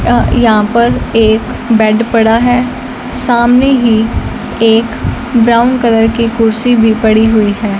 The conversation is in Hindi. यहां पर एक बेड पड़ा है सामने ही एक ब्राउन कलर की कुर्सी भी पड़ी हुई है।